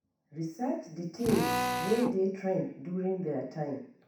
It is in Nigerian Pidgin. Research di things wey dey trend during their time